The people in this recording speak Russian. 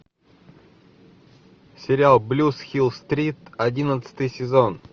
сериал блюз хилл стрит одиннадцатый сезон